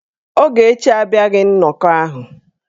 Ogechi abịaghị nnọkọ ahụ.